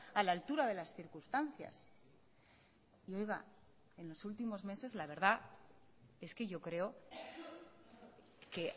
a la altura de las circunstancias y oiga en los últimos meses la verdad es que yo creo que